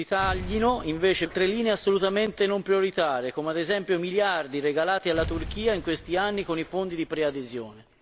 Per contro, si taglino altre linee assolutamente non prioritarie, come ad esempio i miliardi regalati alla Turchia in questi anni con i fondi di preadesione.